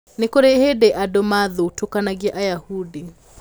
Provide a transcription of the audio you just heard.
"Nĩ kũrĩ hĩndĩ andũ maathutũkanagia Ayahudi.